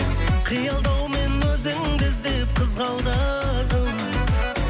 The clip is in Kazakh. қиялдаумен өзіңді іздеп қызғалдағым